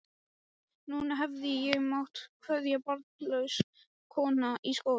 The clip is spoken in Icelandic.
Núna hefði ég mátt kveðja, barnlaus kona í skógi.